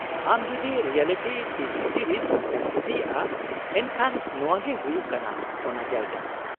ᱟᱢ ᱡᱩᱫᱤ reality T V series ᱮᱢ ᱠᱩᱥᱤᱭᱟᱜ-ᱟ ᱮᱱᱠᱷᱟᱱ ᱱᱚᱶᱟ ᱜᱮ ᱦᱩᱭᱩᱜ ᱠᱟᱱᱟ ᱚᱱᱟ ᱡᱟᱭᱜᱟ ᱾